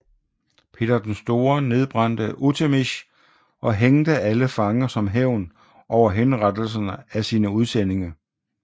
Peter den Store nedbrændte Utemish og hængte alle fanger som hævn over henrettelserne af sine udsendinge